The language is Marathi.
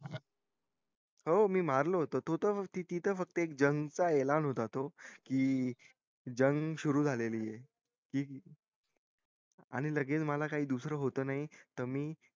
हो मी मराल होत ती त एक जंग चा ऐलान होता तो फक्त जंग सुरु झालेली ये आणि लगेच मला दुसरं काई होत नई त मी